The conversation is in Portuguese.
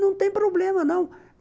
Não tem problema, não.